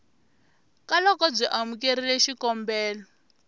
ka loko byi amukerile xikombelo